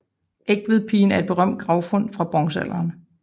Egtvedpigen er et berømt gravfund fra bronzealderen